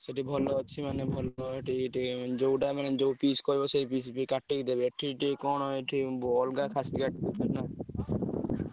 ସେଠି ଭଲ ଅଛି ମାନେ ଭଲ ସେଠି ଟିକେ ଯୋଉଟା ମାନେ ଯୋଉ piece କହିବ ସେହି piece ବି କାଟିକି ଦେବେ। ଏଠି ଟିକେ କଣ ଏଠି ଅଲଗା ଖାଶୀ କାଟି ଦଉଛନ୍ତି ନା।